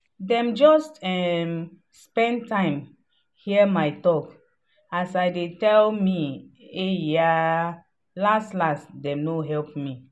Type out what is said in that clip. dem just um spend time hear my talk as i dey tell me "ehh yaa" last last dem no help me.